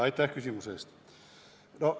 Aitäh küsimuse eest!